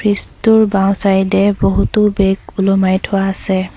Fridge টোৰ বাওঁ side এ বহুতো বেগ ওলোমাই থোৱা আছে।